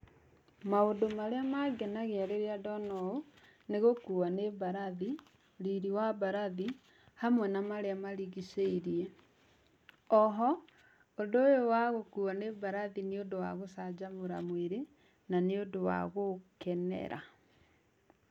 Maũndũ marĩa mangenagia rĩrĩa ndona ũũ nĩgũkuo nĩ mbarathi, riri wa mbarathi hamwe na marĩa marigĩcirie. Oho ũndũ ũyũ wa gũkuo nĩ mbarathi nĩ ũndũ wa gũcanjamũra mwĩrĩ na nĩ ũndũ wa gũũkenera.